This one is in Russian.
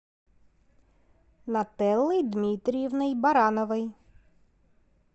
нателой дмитриевной барановой